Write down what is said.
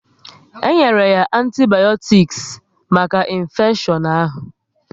E nyere ya antibayotiks maka infeshion ahụ